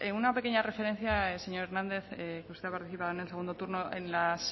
bueno sin más una pequeña referencia señor hernández que usted ha participado en el segundo turno